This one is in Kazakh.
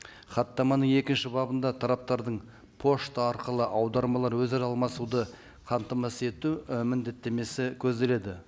хаттаманың екінші бабында тараптардың пошта арқылы аудармалар өзара алмасуды қамтамасыз ету і міндеттемесі көзделеді